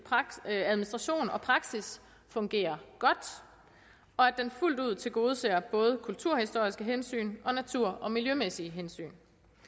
administration og praksis fungerer godt og at det fuldt ud tilgodeser både kulturhistoriske hensyn og natur og miljømæssige hensyn